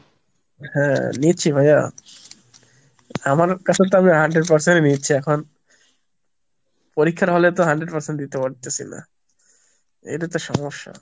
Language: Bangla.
হ্যাঁ নিচ্ছি ভাইয়া, আমার কাছে তো আমি hundred percent নিয়েছি এখন। পরীক্ষার হলে তো hundred percent দিতে পারতেসি না, এটা তো সমস্যা।